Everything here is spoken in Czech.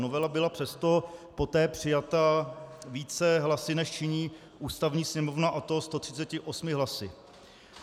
Novela byla přesto poté přijata více hlasy, než činí ústavní sněmovna, a to 138 hlasy.